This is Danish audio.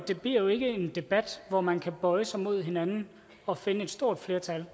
det bliver jo ikke en debat hvor man kan bøje sig mod hinanden og finde et stort flertal